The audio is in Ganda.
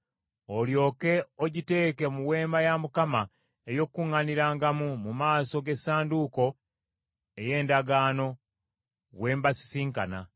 Olyoke ogiteeke mu Weema ey’Okukuŋŋaanirangamu mu maaso g’Essanduuko ey’Endagaano, we mbasisinkana.